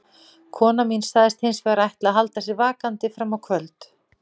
Kona mín sagðist hins vegar ætla að halda sér vakandi fram á kvöld.